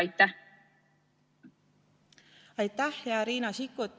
Aitäh, hea Riina Sikkut!